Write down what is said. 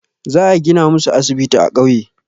Za a gina musu asibiti a ƙauye.